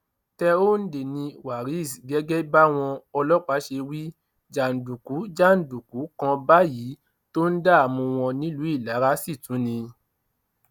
tẹhóǹdè ni waris gẹgẹ báwọn ọlọpàá ṣe wí jàǹdùkú jàǹdùkú kan báyìí tó ń dààmú wọn nílùú ìlara sì tún ni